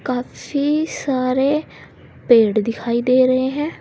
काफी सारे पेड़ दिखाई दे रहे हैं।